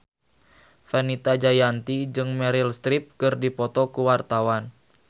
Fenita Jayanti jeung Meryl Streep keur dipoto ku wartawan